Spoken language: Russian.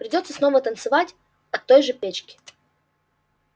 придётся снова танцевать от той же печки